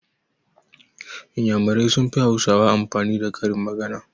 Iyamurai sun fi hausawa amfani da karin magana